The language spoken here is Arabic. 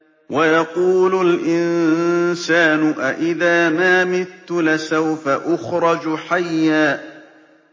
وَيَقُولُ الْإِنسَانُ أَإِذَا مَا مِتُّ لَسَوْفَ أُخْرَجُ حَيًّا